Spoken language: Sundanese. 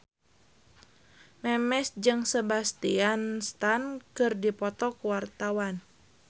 Memes jeung Sebastian Stan keur dipoto ku wartawan